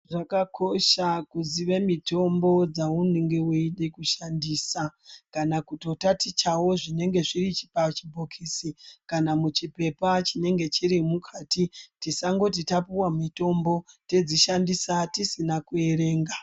Zvakakosha kuziya mitombo dzaunenge weida kushandisa kana kutotatichawo zvinenge zviri pachibhokisi kana muchipepa chinenge chiri mukati tisangoti tapuwa chipepa tapuwa mitombo todzishandisa tisina kuerenga.